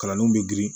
Kalanniw bɛ girin